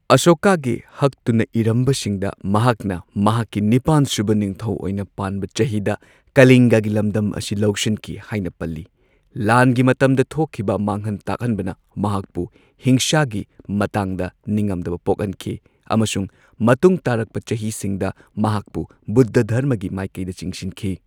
ꯑꯁꯣꯀꯥꯒꯤ ꯍꯛꯇꯨꯅ ꯏꯔꯝꯕꯁꯤꯡꯗ ꯃꯍꯥꯛꯅ ꯃꯍꯥꯛꯀꯤ ꯅꯤꯄꯥꯟꯁꯨꯕ ꯅꯤꯡꯊꯧ ꯑꯣꯏꯅ ꯄꯥꯟꯕ ꯆꯍꯤꯗ ꯀꯂꯤꯡꯒꯒꯤ ꯂꯝꯗꯝ ꯑꯁꯤ ꯂꯧꯁꯤꯟꯈꯤ ꯍꯥꯢꯅ ꯄꯜꯂꯤ꯫ ꯂꯥꯟꯒꯤ ꯃꯇꯝꯗ ꯊꯣꯛꯈꯤꯕ ꯃꯥꯡꯍꯟ ꯇꯥꯛꯍꯟꯕꯅ ꯃꯍꯥꯛꯄꯨ ꯍꯤꯡꯁꯥꯒꯤ ꯃꯇꯥꯡꯗ ꯅꯤꯉꯝꯗꯕ ꯄꯣꯛꯍꯟꯈꯤ꯫ ꯑꯃꯁꯨꯡ ꯃꯇꯨꯡ ꯇꯥꯔꯛꯄ ꯆꯍꯤꯁꯤꯡꯗ ꯃꯍꯥꯛꯄꯨ ꯕꯨꯙ ꯙꯔꯃꯒꯤ ꯃꯥꯢꯀꯩꯗꯆꯤꯡꯁꯤꯟꯈꯤ꯫